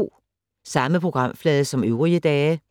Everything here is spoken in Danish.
Samme programflade som øvrige dage